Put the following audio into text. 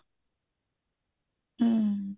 ਹਮ